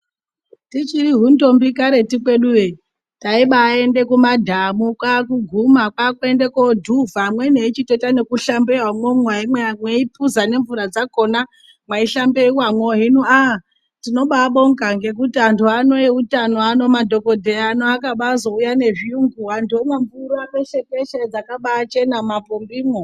Tichiri hundombi karetu kweduyo taimbaende kumadhamu kwakuguma kwaakuenda kwodhuvha amweni echitoita nekuhlambeya imwomwo amweni eipuza nemvura dzakona mwaihlambewamwo . Hino aa tinobabonga ngekuti antu ano eutano madhokodheya ano akaba azouya nezviyungu vantu vomwa mvura peshe peshe yakabaachena mumapombimwo.